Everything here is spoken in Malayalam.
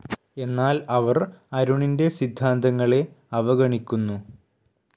എന്നാൽ അവർ അരുണിൻ്റെ സിദ്ധാന്തങ്ങളെ അവഗണിക്കുന്നു